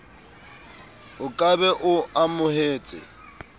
o ka be o amohetse